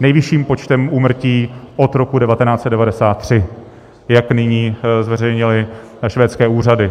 nejvyšším počtem úmrtí od roku 1993, jak nyní zveřejnily švédské úřady.